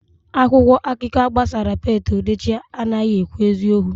Akwụkwọ akụkọ a gbasara Pete Edochie anaghị ekwu eziokwu